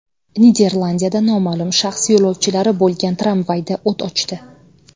Niderlandiyada noma’lum shaxs yo‘lovchilari bo‘lgan tramvayda o‘t ochdi.